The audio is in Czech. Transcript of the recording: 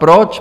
Proč?